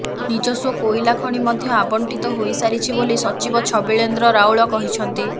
ନିଜସ୍ୱ କୋଇଲା ଖଣି ମଧ୍ୟ ଆବଣ୍ଟିତ ହୋଇସାରିଛି ବୋଲି ସଚିବ ଛବିଳେନ୍ଦ୍ର ରାଉଳ କହିଛନ୍ତି